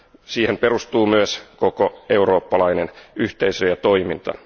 Siihen perustuu myös koko eurooppalainen yhteisö ja toiminta.